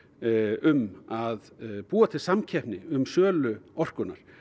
um að búa til samkeppni um sölu orkunnar